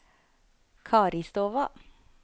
Karistova